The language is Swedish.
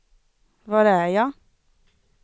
var är jag